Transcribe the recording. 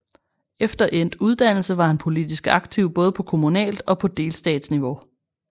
Efter endt uddannelse var han politisk aktiv både på kommunalt og på delstatsniveau